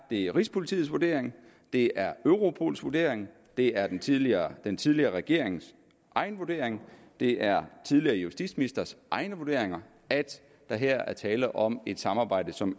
det er rigspolitiets vurdering det er europols vurdering det er den tidligere den tidligere regerings egen vurdering det er tidligere justitsministres egne vurderinger at der her er tale om et samarbejde som